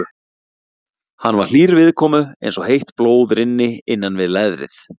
Hann var hlýr viðkomu eins og heitt blóð rynni innan við leðrið.